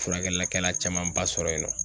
Furakɛlikɛla camanba sɔrɔ yen nɔ